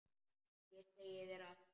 Ég segi þér allt.